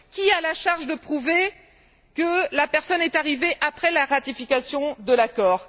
Qui a la charge de prouver que la personne est arrivée après la ratification de l'accord?